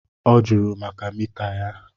Ọ jụrụ maka mita a.